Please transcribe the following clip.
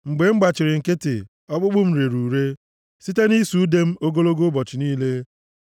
Mgbe m gbachiri nkịtị, ọkpụkpụ m rere ure site nʼịsụ ude m ogologo ụbọchị niile.